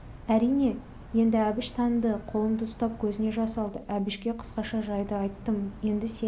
әрине енді әбіш таныды қолымды ұстап көзіне жас алды әбішке қысқаша жайды айттым енді сен